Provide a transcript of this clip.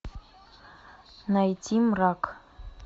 найти мрак